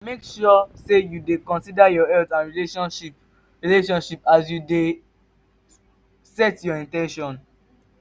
make sure say you de consider your health and relationship relationship as you de set your in ten tions